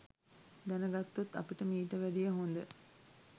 දැනගත්තොත් අපිට මීට වැඩිය හොඳ